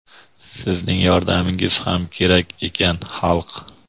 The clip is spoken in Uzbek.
Sizni yordamingiz ham kerak ekan, xalq.